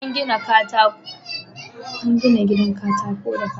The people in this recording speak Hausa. An gina gidan katako da katako iri-iri